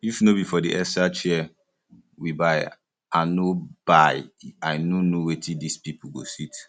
if no be for the extra chair we buy i no buy i no know where dis people go sit